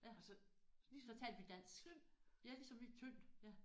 Ja så talte vi dansk. Ja ligesom i tyndt ja